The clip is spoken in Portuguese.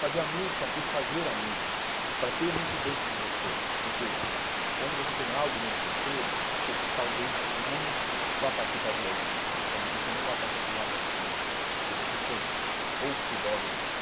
Fazer a música por fazer a música, para ter isso dentro de você, porque quando você tem algo dentro de você, você talvez não vá partir para a violência, talvez você não vá partir para o lado do crime, porque você tem ou o futebol dentro de você,